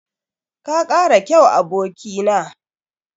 Ka kara kyau, aboki na.